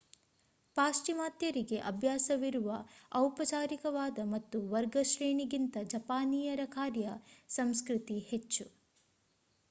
ಪಾಶ್ಚಿಮಾತ್ಯರಿಗೆ ಅಭ್ಯಾಸವಿರುವ ಔಪಚಾರಿಕವಾದ ಮತ್ತು ವರ್ಗಶ್ರೇಣಿ ಗಿಂತ ಜಪಾನೀಯರ ಕಾರ್ಯ ಸಂಸ್ಕೃತಿ ಹೆಚ್ಚು